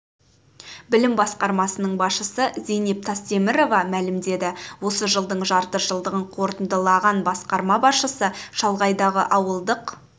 білім басқармасының басшысы зейнеп тастемірова мәлімдеді осы жылдың жарты жылдығын қорытындылыған басқарма басшысы шалғайдағы ауылдық